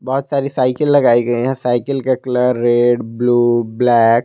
बहुत सारी साइकिल लगाई गई है साइकिल का कलर रेड ब्लू ब्लैक --